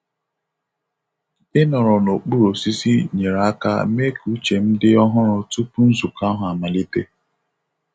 Ịnọrọ n'okpuru osisi nyere aka mee ka uche m dị ọhụrụ tupu nzukọ ahụ amalite.